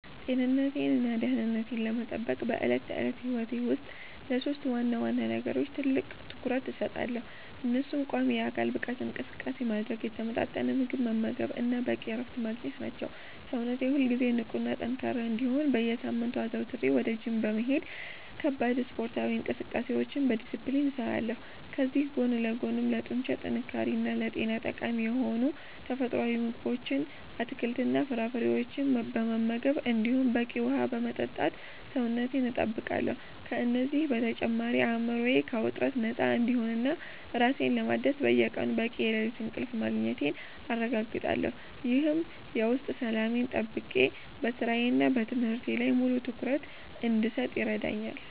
ጤንነቴንና ደህንነቴን ለመጠበቅ በዕለት ተዕለት ሕይወቴ ውስጥ ለሦስት ዋና ዋና ነገሮች ትልቅ ትኩረት እሰጣለሁ፤ እነሱም ቋሚ የአካል ብቃት እንቅስቃሴ ማድረግ፣ የተመጣጠነ ምግብ መመገብ እና በቂ እረፍት ማግኘት ናቸው። ሰውነቴ ሁልጊዜ ንቁና ጠንካራ እንዲሆን በየሳምንቱ አዘውትሬ ወደ ጂም በመሄድ ከባድ ስፖርታዊ እንቅስቃሴዎችን በዲስፕሊን እሰራለሁ፤ ከዚህ ጎን ለጎንም ለጡንቻ ጥንካሬና ለጤና ጠቃሚ የሆኑ ተፈጥሯዊ ምግቦችን፣ አትክልትና ፍራፍሬዎችን በመመገብ እንዲሁም በቂ ውሃ በመጠጣት ሰውነቴን እጠብቃለሁ። ከእነዚህ በተጨማሪ አእምሮዬ ከውጥረት ነፃ እንዲሆንና ራሴን ለማደስ በየቀኑ በቂ የሌሊት እንቅልፍ ማግኘቴን አረጋግጣለሁ፤ ይህም የውስጥ ሰላሜን ጠብቄ በሥራዬና በትምህርቴ ላይ ሙሉ ትኩረት እንድሰጥ ይረዳኛል።